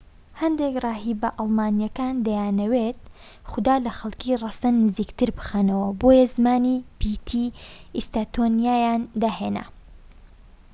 هەندێک ڕاهیبە ئەڵمانییەکان دەیانویست خودا لە خەڵکی ڕەسەن نزیکتر بخەنەوە بۆیە زمانی پیتی ئیستۆنیاییان داهێنا